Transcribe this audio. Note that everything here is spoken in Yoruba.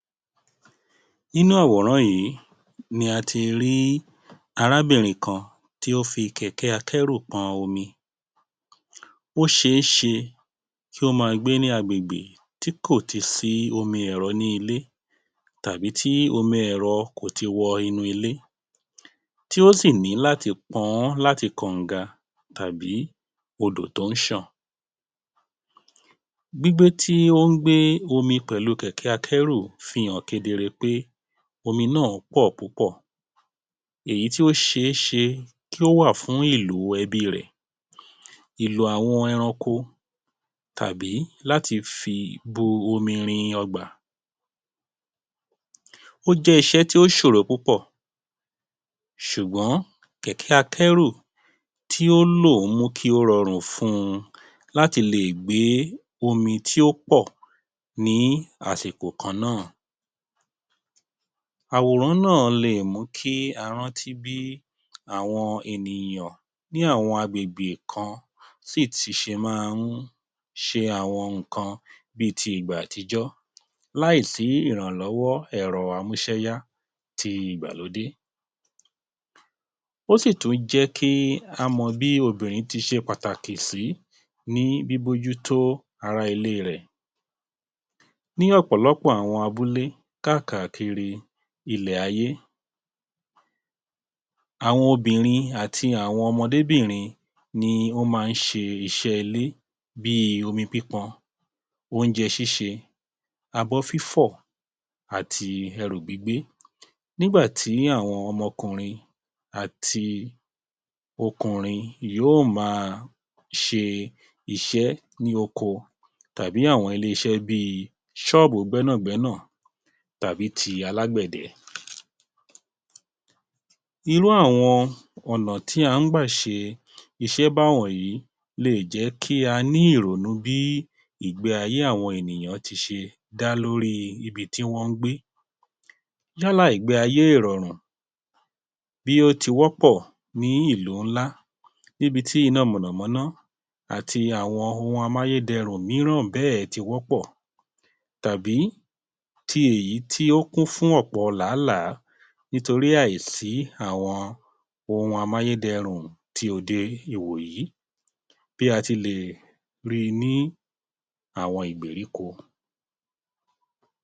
Nínú àwòrán yìí ni a ti rí arábìnrin kan tí ó fi kẹ̀kẹ́ akẹ́rù pọn omi. Ó ṣe é ṣe kí ó má gbé ní agbègbè tí kò ti sí omi ẹ̀rọ ni ilé tàbí tí omi ẹ̀rọ kò ti wọ inú ilé, tí ó sì ní láti pọn ọ́ láti kànga tàbí odò tó ń ṣàn. Gbígbé tí ó ń gbé omi pẹ̀lú kẹ̀kẹ́ akẹ́rù fi hàn kedere pé omi náà pọ̀ púpọ̀, èyí tí ó ṣe é ṣe kí ó wà fún ìlò ẹbí rẹ̀, ìlò àwọn ẹranko, tàbí láti fi bu omi rin ọgbà. Ó jẹ́ iṣẹ́ tí ó ṣòro púpọ̀ ṣùgbọ́n kẹ̀kẹ́ akẹ́rù tí ó lò mú kí ó rọrùn fun ún láti lè gbé omi tí ó pọ̀ ní àsìkò kan náà. Àwòrán náà lè mú kí a rántí bí àwọn ènìyàn ní àwọn agbègbè kan sì tì ṣe máa ń ṣe àwọn nǹkan bí ti ìgbà àtijọ́ láìsí ìrànlọ́wọ́ ẹ̀rọ amúṣẹ́yá tí ìgbàlódé. Ó sì tún jẹ́ kí á mọ bí obìnrin tí ṣe pàtàkì sí ní bíbójútó ará ilé rẹ̀. Ní ọ̀pọ̀lọpọ̀ abúlé kákàkiri ilẹ̀ ayé, àwọn obìnrin àti àwọn ọmọdé bìnrin ni ó máa ń ṣe iṣẹ́ ilé bíi omi pípọn, oúnjẹ ṣíṣe, abọ́ fífọ̀, àti ẹrù gbígbé. Nígbà tí àwọn ọmọ ọkùnrin àti ọkùnrin yóò ma ṣe iṣẹ́ ní oko tàbí ní àwọn ilé-iṣẹ́ bíi ṣọ́ọ́bù gbẹ́nàgbẹ́nà, tàbí tí alágbẹ̀dẹ. Irú àwọn ọ̀nà tí a ń gbà ṣe iṣẹ́ bá wọ̀nyí lè jẹ́ kí a ní ìrònú bí ìgbé ayé àwọn ènìyàn ti ṣe dá lórí ibi tí wọ́n ń gbé. Yálà ìgbé ayé ìrọ̀rùn bí ó ti wọ́ pọ̀ ní ìlú ńlá níbi tí iná mọ̀nà-mọ́ná àti àwọn ohun amáyédẹrùn míràn bẹ́ẹ̀ tí wọ́pọ̀, tàbí tí èyí tí ó kún fún ọ̀pọ̀ làálàá nítorí àìsí àwọn ohun amáyédẹrùn tí òde ìwòyí bí a ti lè ri ní àwọn ìgbèríko.